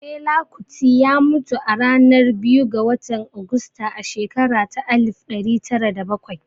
Fela Kuti ya mutu ranar biyu ga watan Augusta a shekara ta alif ɗari tara da bakwai